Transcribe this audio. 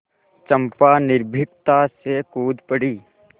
चंपा निर्भीकता से कूद पड़ी